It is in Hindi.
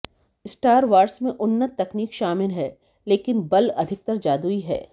स्टार वार्स में उन्नत तकनीक शामिल है लेकिन बल अधिकतर जादुई है